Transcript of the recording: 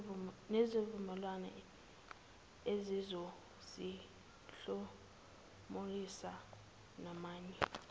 nezivumelwano ezizosihlomulisa namanye